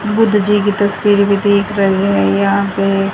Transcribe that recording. बुद्ध जी की तस्वीर भी देख रही है यहां पे --